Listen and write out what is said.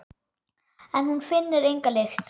En hún finnur enga lykt.